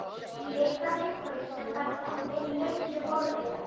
Í leit að einhverju sem var, en er löngu horfið.